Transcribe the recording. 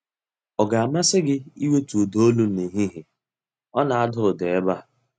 Ọ ga-amasị gị iwetu ụda olu nehihie? Ọ na-ada ụda ebe a.